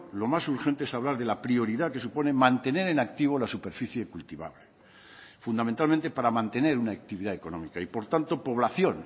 lo más urgente es hablar de la prioridad que supone mantener en activo la superficie cultivable fundamentalmente para mantener una actividad económica y por tanto población